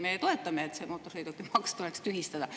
Meie toetame seda, et mootorsõidukimaks tuleks tühistada.